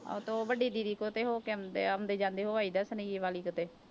ਹਾਂ ਤਾਂ ਉਹ ਵੱਡੀ ਦੀਦੀ ਕੋਲ ਤੇ ਹੋ ਕੇ ਆਉਂਦੇ ਆ, ਆਉਂਦੇ ਜਾਂਦੇ ਹੋ ਆਈਦਾ ਸੁਨੇਹੀਏਵਾਲੀ ਕਿਤੇ।